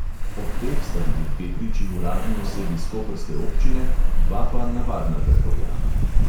Od teh sta bili dve priči uradni osebi s koprske občine, dva pa navadna državljana.